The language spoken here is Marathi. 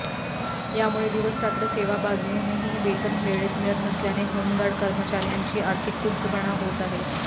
यामुळे दिवसरात्र सेवा बजावूनही वेतन वेळेत मिळत नसल्याने होमगार्ड कर्मचार्यांची आर्थिक कुचंबणा होत आहे